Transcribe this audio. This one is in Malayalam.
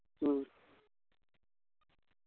ഉം